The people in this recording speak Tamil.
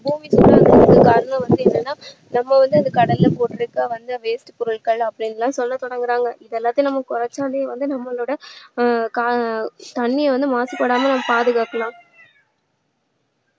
பூமி சூடாகுறதுக்கு காரணம் வந்து என்னன்னா நம்ம வந்து இந்த கடல்ல போட்டிட்டிருக்கிற வந்து waste பொருட்கள் அப்படின்னு எல்லாம் சொல்ல தொடங்குறாங்க இதெல்லாத்தையும் நாம குறைச்சாலே வந்து நம்மளோட அஹ் தண்ணீரை வந்து மாசுபடாம பாதுகாக்கலாம்.